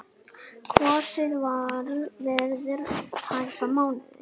Kosið verður eftir tæpan mánuð.